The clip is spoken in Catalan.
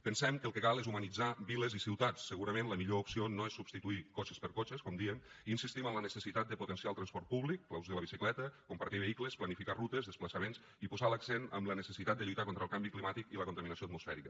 pensem que el que cal és humanitzar viles i ciutats segurament la millor opció no és substituir cotxes per cotxes com dèiem i insistim en la necessitat de potenciar el transport públic l’ús de la bicicleta compartir vehicles planificar rutes i desplaçaments i posar l’accent en la necessitat de lluitar contra el canvi climàtic i la contaminació atmosfèrica